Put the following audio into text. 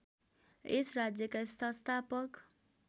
यस राज्यका संस्थापक